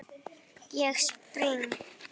Ég spring.